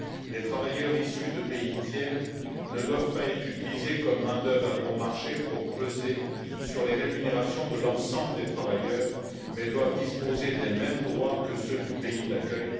Les travailleurs issus de pays tiers ne doivent pas être utilisés comme main d'œuvre à bon marché pour peser sur les rémunérations de l'ensemble des travailleurs mais doivent disposer des mêmes droits que ceux du pays d'accueil.